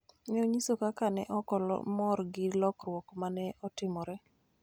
ne onyiso kaka ne ok omor gi lokruok ma ne otimore